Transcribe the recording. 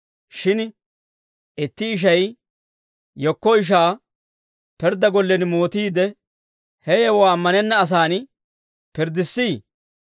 Shin itti ishay yekko ishaa pirddaa gollen mootiidde, he yewuwaa ammanenna asaan pirddissii?